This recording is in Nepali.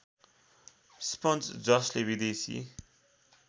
स्पन्ज जसले विदेशी